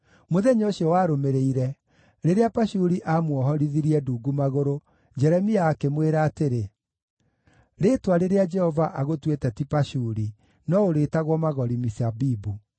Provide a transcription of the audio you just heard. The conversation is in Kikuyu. Mũthenya ũcio warũmĩrĩire, rĩrĩa Pashuri aamuohorithirie ndungu magũrũ, Jeremia akĩmwĩra atĩrĩ, “Rĩĩtwa rĩrĩa Jehova agũtuĩte ti Pashuri, no ũrĩĩtagwo Magori-Misabibu.